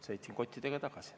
Sõitsin kottidega tagasi.